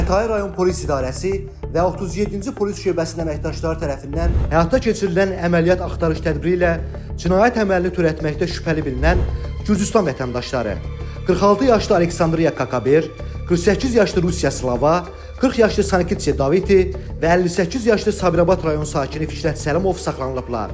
Xətai rayon Polis İdarəsi və 37-ci polis şöbəsinin əməkdaşları tərəfindən həyata keçirilən əməliyyat axtarış tədbiri ilə cinayət əməlini törətməkdə şübhəli bilinən Gürcüstan vətəndaşları, 46 yaşlı Aleksandriya Kakaber, 48 yaşlı Rusiya Slava, 40 yaşlı Sanike Daviti və 58 yaşlı Sabirabad rayon sakini Fikrət Səlimov saxlanılıblar.